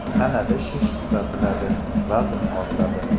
Tanada shish kuzatiladi, vazn ortadi.